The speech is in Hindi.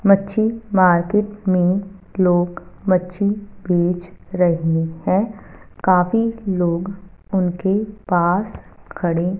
मच्छी मार्केट में लोग मच्छी बेच रहे हैं काफी लोग उनके पास खड़े--